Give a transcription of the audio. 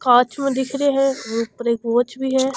कांच में दिख रहे है और ऊपर एक वॉच भी है।